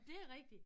Dét rigtigt